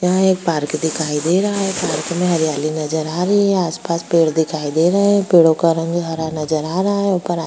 यहाँ एक पार्क दिखाई दे रहा है पार्क में हरियाली नजर आ रही हैआस-पास पेड़ दिखाई दे रहे हैं पेड़ो क रंग हरा नजर आ रहा हैं ऊपर --